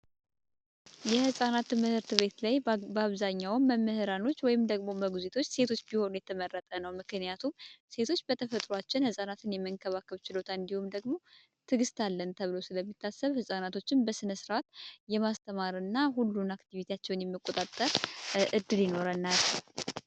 የህጻናት ትምህርት ቤት ላይ በአብዛኛው መምህራኖች ወይም ሞግዚቶች ሴቶች ቢሆኑ የተመረጠ ነው ምክንያቱም ሴቶች በተፈጥሯችን ህፃናትን የመንከባከብ ችሎታ እንዲሁም ደግሞ ትዕግስት አለን ተብሎ ስለሚታሰብ ህጻናትን በስነ ስርዓት ለማስተማር ሁሉንም አክቲቪቲያቸውን የመቆጣጠር እድሌ ይኖረናል።